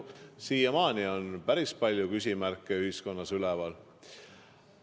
Siiamaani on päris palju küsimärke ühiskonnas üleval.